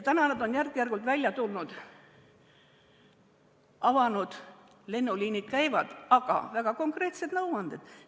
Täna on nad järk-järgult välja tulnud, avanud, lennuliinid käivad, aga neil on väga konkreetsed nõuanded.